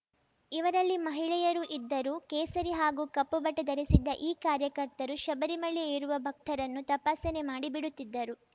ಇವರಲ್ಲಿ ಮಹಿಳೆಯರೂ ಇದ್ದರು ಕೇಸರಿ ಹಾಗೂ ಕಪ್ಪುಬಟ್ಟೆಧರಿಸಿದ್ದ ಈ ಕಾರ್ಯಕರ್ತರು ಶಬರಿಮಲೆ ಏರುವ ಭಕ್ತರನ್ನು ತಪಾಸಣೆ ಮಾಡಿ ಬಿಡುತ್ತಿದ್ದರು